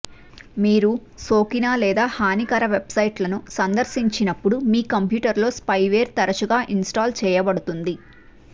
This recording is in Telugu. మీరు సోకిన లేదా హానికర వెబ్సైట్ను సందర్శించినప్పుడు మీ కంప్యూటర్లో స్పైవేర్ తరచుగా ఇన్స్టాల్ చేయబడుతుంది